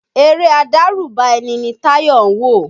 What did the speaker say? Eré adárùbà ẹni ni Táyọ̀ ń wò